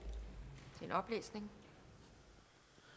når